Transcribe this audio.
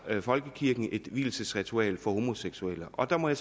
folkekirken et vielsesritual for homoseksuelle og der må jeg